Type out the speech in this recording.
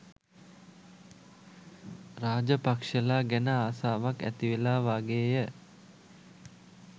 රාජපක්ෂලා ගැන ආසාවක් ඇතිවෙලා වාගේය.